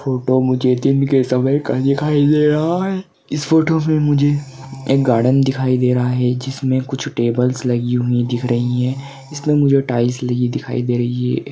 Photo मुझे दिन के समय का दिखाई दे रहा है इस फोटो में मुझे एक गार्डेन दिखाई दे रहा है जिसमे कुछ टेबल्स लगी हुई दिख रही है इसमे मुझे टाइल्स लगी दिखाई दे रही है।